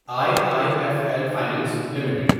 I I F L finance limited